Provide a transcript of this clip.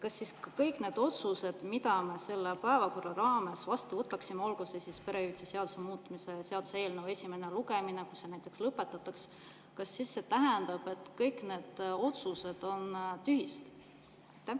Kas siis kõik need otsused, mida me selle päevakorra raames vastu võtame, näiteks perehüvitiste seaduse muutmise seaduse eelnõu esimese lugemise lõpetamine, kas see tähendab, et kõik need otsused on siis tühised?